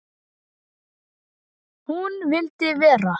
Hún vildi vera.